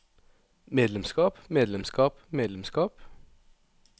medlemskap medlemskap medlemskap